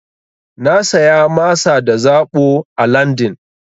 Na saya masa da zaɓo a LandN.